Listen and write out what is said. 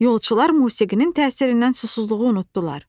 Yolçular musiqinin təsirindən susuzluğu unutdular.